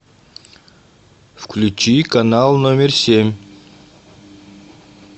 включи канал номер семь